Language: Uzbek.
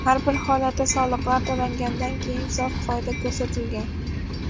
Har bir holatda soliqlar to‘langandan keyingi sof foyda ko‘rsatilgan.